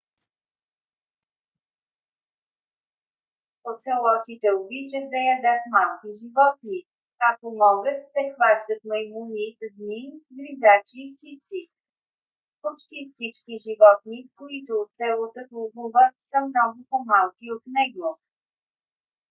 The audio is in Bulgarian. оцелотите обичат да ядат малки животни. ако могат те хващат маймуни змии гризачи и птици. почти всички животни които оцелотът ловува са много по-малки от него